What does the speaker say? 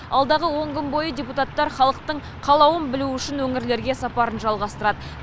алдағы он күн бойы депутаттар халықтың қалауын білу үшін өңірлерге сапарын жалғастырады